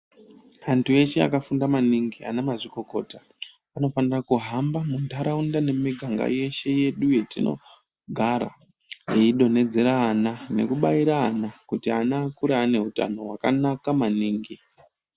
Antu eshe akafunda maningi anamazvikokota, anofanira kuhamba mundaraunda nemumiganga yedu yeshe yetinogara eidonhedzera ana nekubaira ana kuti ana akure aneutano wakanaka maningi.